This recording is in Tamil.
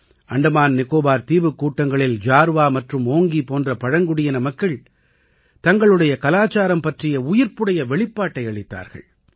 அண்டமான் நிகோபார் தீவுக்கூட்டங்களில் ஜார்வா மற்றும் ஓங்கி போன்ற பழங்குடியின மக்கள் தங்களுடைய கலாச்சாரம் பற்றிய உயிர்ப்புடைய வெளிப்பாட்டை அளித்தார்கள்